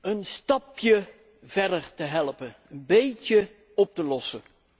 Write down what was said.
een stapje verder te helpen, een beetje op te lossen.